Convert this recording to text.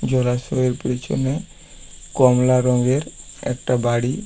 জলাশয়ের পেছনে কমলা রঙের একটা বাড়ি।